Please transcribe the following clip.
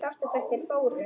Sástu hvert þeir fóru?